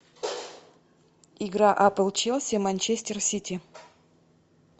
игра апл челси манчестер сити